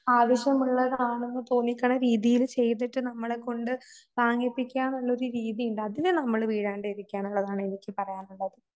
ആവശ്യമുള്ളതാണെന്ന് തോന്നിക്കണ രീതിയിൽ ചെയ്തിട്ട് നമ്മളെകൊണ്ട് വാങ്ങിപ്പിക്കാന്നുള്ളൊരു രീതിയുണ്ട്. അതില് നമ്മള് വീഴാണ്ടിക്കണംള്ളതാണ് എനിക്ക് പറയാനുള്ളത്.